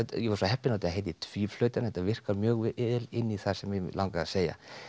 ég var svo heppinn að þetta heitir Tvíflautan þetta virkar mjög vel inn í það sem mig langaði að segja